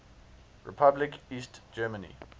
republic east germany